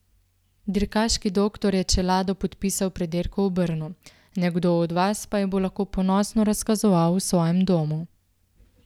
Dirkaški doktor je čelado podpisal pred dirko v Brnu, nekdo od vas pa jo bo lahko ponosno razkazoval v svojem domu.